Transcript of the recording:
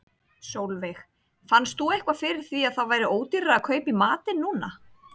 Sólveig: Fannst þú eitthvað fyrir því að það væri ódýrara að kaupa í matinn núna?